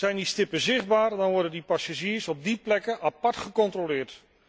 Zijn die stippen zichtbaar, dan worden die passagiers op die plekken apart gecontroleerd.